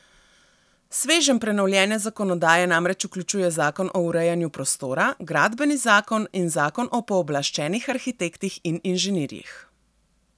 Sveženj prenovljene zakonodaje namreč vključuje zakon o urejanju prostora, gradbeni zakon in zakon o pooblaščenih arhitektih in inženirjih.